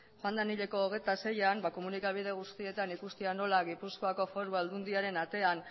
joan den hileko hogeita seian komunikabide guztietan ikustea nola gipuzkoako foru aldundiaren atean